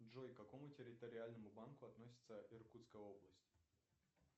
джой к какому территориальному банку относится иркутская область